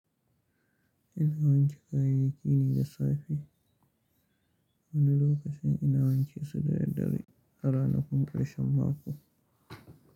Ina wanke kayayyaki ne da safe, wani lokacin ina wanke su da daddare a ranakun karshen mako.